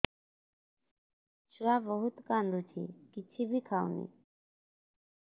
ଛୁଆ ବହୁତ୍ କାନ୍ଦୁଚି କିଛିବି ଖାଉନି